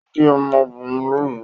O bi ọ́mọ́ obìnrin lóru